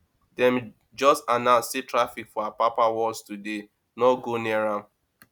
dem just announce say traffic for apapa worse today no go near am